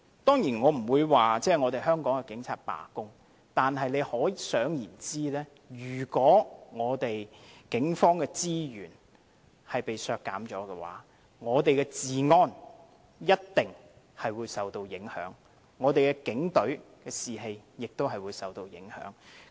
當然，我並非說香港警察會罷工，但大家可以想象，如果警方的資源被削減，我們的治安一定會受影響，警隊士氣亦會受影響。